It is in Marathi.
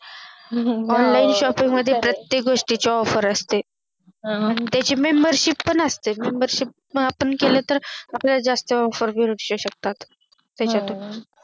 हम्म मध्ये प्रतेय्क गोष्टीची Offer असते हम्म आणि त्याची Membership पण असते Membership आपण केले तर आपल्याला जास्त offer मिळू शकतात त्याच्यातून